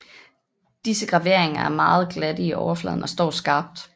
Disse graveringer er meget glatte i overfladen og står skarpt